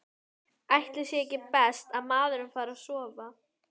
Ætli sé ekki best að maður fari að sofa.